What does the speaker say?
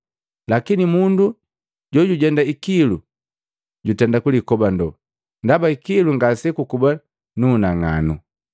Lakini mundu na jujenda ikilu jutenda kulikobando, ndaba ikilu ngasekukuba nunang'ano.”